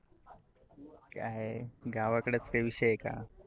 काय आहे. गावाकडच काही विषय आहे का.